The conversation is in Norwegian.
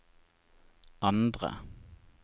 andre